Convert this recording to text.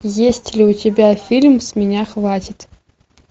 есть ли у тебя фильм с меня хватит